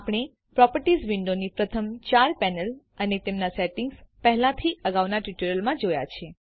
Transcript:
આપણે પ્રોપર્ટીઝ વિન્ડોની પ્રથમ ચાર પેનલ અને તેમના સેટિંગ્સ પહેલાથી અગાઉના ટ્યુટોરિયલ્સમાં જોયા છે